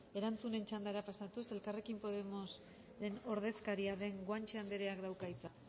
erantzunen txandara pasatuz elkarrekin podemosen ordezkaria den guanche andereak dauka hitza